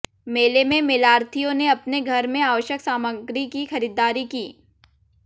मेले में मेलार्थियों ने अपने घर में आवश्यक सामग्री की खरीदारी की